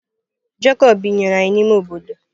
Jekọb binyere anyị n’ime obodo.